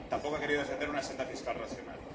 Tampoco ha querido defender una senda fiscal racional.